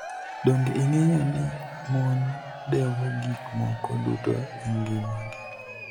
Donige inig'eyo nii moni dewo gik moko duto e nigimagi?